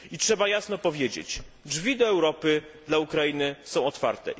I trzeba jasno powiedzieć drzwi do Europy dla Ukrainy są otwarte.